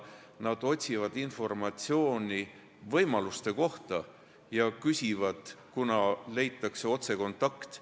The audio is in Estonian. Nad otsivad informatsiooni võimaluste kohta ja küsivad, kuna leiavad otsekontakti.